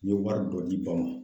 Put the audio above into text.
N ye wari dɔ d'i ba ma.